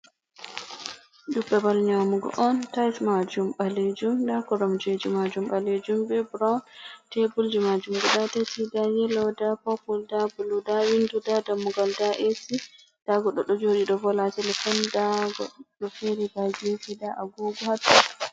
Do bebe nyamugo on. tais majum balejum, nda koromjeji majum balejum be brown, tabulji majum be dat da yelo nda popul da bulu, da windu, da dammugol, da esi. Nda goɗɗo do jodi do vola telefon da goɗɗo fere be jesi nda agogo hatto.